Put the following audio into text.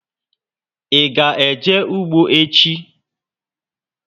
Ị ga eje ugbo echi?